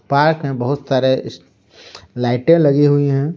Park में बहुत सारे लाइटें लगी हुई है।